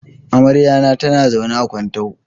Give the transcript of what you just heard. Amaryata tana zaune a Kuntau.